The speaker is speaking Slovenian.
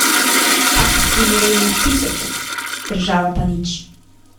Takih primerov je na tisoče, država pa nič.